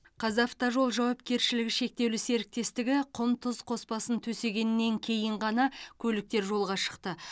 қазавтожол жауапкершілігі шектеулі серіктестігі құм тұз қоспасын төсегеннен кейін ғана көліктер жолға шықты